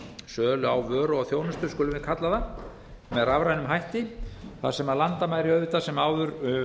sölu á vöru og þjónustu skulum við kalla það með rafrænum þætti þar sem landamæri auðvitað sem áður